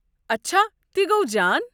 اچھا، تہِ گوٚو جان۔